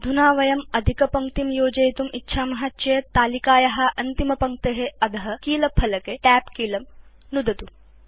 अधुना यदि वयं अधिकपङ्क्तिं योजयितुम् इच्छाम केवलं तालिकाया अन्तिमपङ्क्ते अध कीलफलके Tab कीलं नुदतु